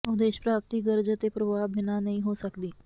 ਉਦੇਸ਼ ਪ੍ਰਾਪਤੀ ਗਰਜ਼ ਅਤੇ ਪਰਵਾਹ ਬਿਨਾਂ ਨਹੀਂ ਹੋ ਸਕਦੀ